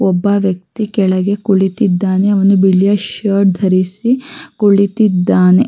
ಒಬ್ಬ ವ್ಯಕ್ತಿ ಕೆಳಗೆ ಕುಳಿತಿದ್ದಾನೆ ಅವನು ಬಿಳಿಯ ಶರ್ಟ್ ಧರಿಸಿ ಕುಳಿತಿದ್ದಾನೆ.